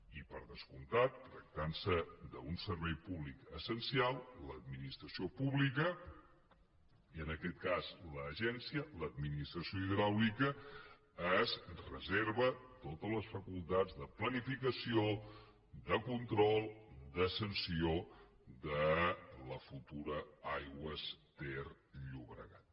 i per descomptat tractant se d’un servei públic essencial l’administració pública i en aquest cas l’agència l’administració hidràulica es reserva totes les facultats de planificació de control de sanció de la futura aigües ter llobregat